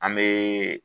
An bee